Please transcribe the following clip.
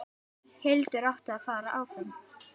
Hildur átti að fara áfram!